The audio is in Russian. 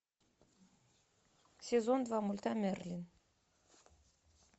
сезон два мульта мерлин